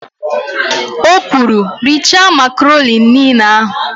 O kwuru, "richaa makaroni niile ahụ"!